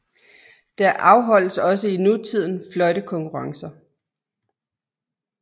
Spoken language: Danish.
Der afholdes også i nutiden fløjtekonkurrencer